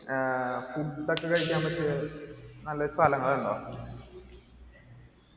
അഹ് food ഒക്കെ കഴിക്കാൻ പറ്റിയ നല്ല സ്ഥലങ്ങൾ ണ്ടോ